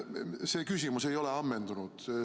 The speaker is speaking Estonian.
See küsimus ei ole ammendunud.